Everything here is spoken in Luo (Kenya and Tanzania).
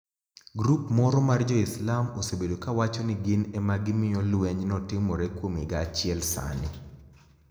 Grup moro mar joislam osebedo kawacho nii gini ema gimiyo lweniy no timore kuom higa achiel Saanii.